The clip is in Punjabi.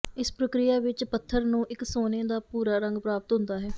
ਇਸ ਪ੍ਰਕਿਰਿਆ ਵਿਚ ਪੱਥਰ ਨੂੰ ਇਕ ਸੋਨੇ ਦਾ ਭੂਰਾ ਰੰਗ ਪ੍ਰਾਪਤ ਹੁੰਦਾ ਹੈ